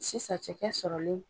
Sisan cɛkɛ sɔrɔlen.